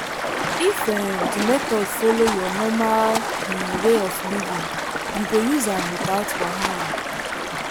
if um the method follow your normal um way of living you go use am without wahala.